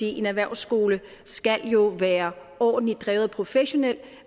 en erhvervsskole skal jo være overordentlig drevet og professionel